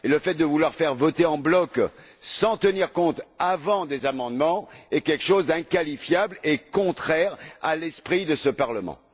Le fait de vouloir faire voter en bloc, sans tenir compte, auparavant, des amendements, est quelque chose d'inqualifiable et contraire à l'esprit de ce Parlement.